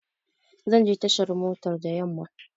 Zanje tashar motar da yamma